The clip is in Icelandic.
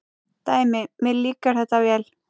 Dæmi: Mér líkar þetta vel.